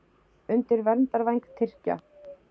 Undir verndarvæng Tyrkja